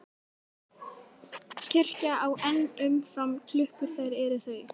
Kirkja á enn um fram klukkur þær er þau